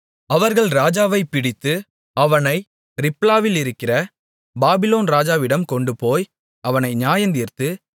அவர்கள் ராஜாவைப் பிடித்து அவனை ரிப்லாவிலிருக்கிற பாபிலோன் ராஜாவிடம் கொண்டுபோய் அவனை நியாயந்தீர்த்து